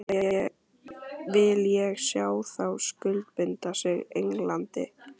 Vil ég sjá þá skuldbinda sig Englandi?